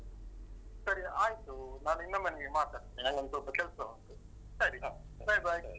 ಸರಿ ಆಯ್ತು ನಾನ್ ಇನ್ನೊಮ್ಮೆ ನಿಂಗೆ ಮಾಡ್ತೇನೆ. ನಂಗೊಂದು ಸ್ವಲ್ಪ ಕೆಲಸ ಉಂಟು. ಸರಿ ಹ bye, bye.